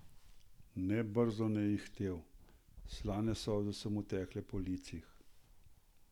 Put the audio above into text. Nebrzdano je ihtel, slane solze so mu tekle po licih.